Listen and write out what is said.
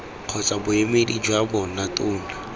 kgotsa boemedi jwa bona tona